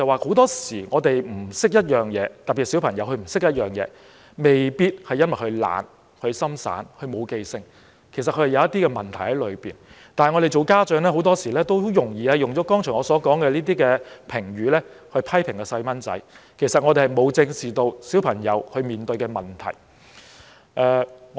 很多時候，我們不懂得一些事，特別是小孩不懂得一些事，未必因為小孩懶惰、不專心、沒有用心記住，其實他可能另有問題，但我們作為家長，很多時候很容易用了我剛才所說的評語來批評小孩，而沒有正視小孩面對的問題。